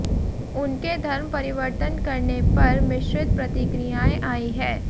उनके धर्म परिवर्तन करने पर मिश्रीत प्रतिक्रियाएं आई है